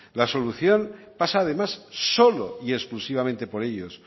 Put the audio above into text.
la solución pasa además solo y exclusivamente por ellos